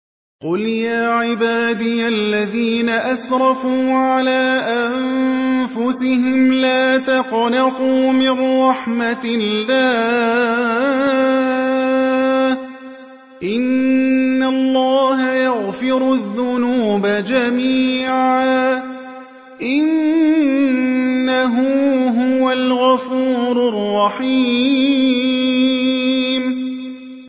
۞ قُلْ يَا عِبَادِيَ الَّذِينَ أَسْرَفُوا عَلَىٰ أَنفُسِهِمْ لَا تَقْنَطُوا مِن رَّحْمَةِ اللَّهِ ۚ إِنَّ اللَّهَ يَغْفِرُ الذُّنُوبَ جَمِيعًا ۚ إِنَّهُ هُوَ الْغَفُورُ الرَّحِيمُ